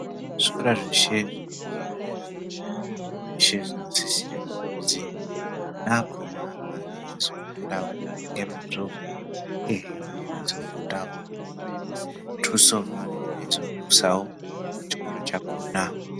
Zvikora zveshe zvinenge zvemudera, zveshe zvinosisirwa kuzwi ana akhona, ange eizofundawo ngemwazvo, uyehe vange veizofundawo zvisina muthuso, vanenge veizodusawo chikora chakhona.